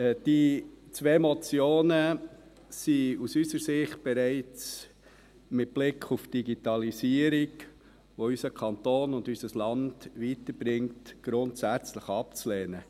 Die zwei Motionen sind aus unserer Sicht bereits mit Blick auf die Digitalisierung, die unseren Kanton und unser Land weiterbringt, grundsätzlich abzulehnen.